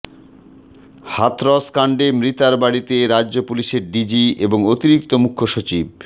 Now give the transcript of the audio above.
হাথরসকাণ্ডে মৃতার বাড়িতে রাজ্য পুলিশের ডিজি এবং অতিরিক্ত মুখ্যসচিব